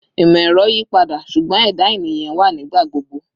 Imọ-ẹrọ yipada, ṣugbọn ẹda eniyan wa nigbagbogbo